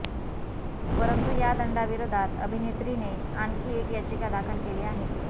परंतु या दंडाविरोधात अभित्रीने आणखी एक याचिका दाखल केली आहे